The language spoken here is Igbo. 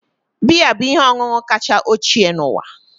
Biya bụ ihe ọṅụṅụ kacha ochie n'ụwa